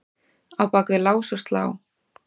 á bak við lás og slá.